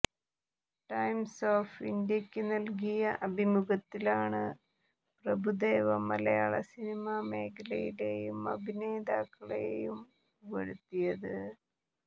times of ഇന്ത്യയ്ക്ക് നല്കിയ അഭിമുഖത്തിലാണ് പ്രഭുദേവ മലയാള സിനിമ മേഖലയേയും അഭിനേതാക്കളേയും പുകഴ്ത്തിയത്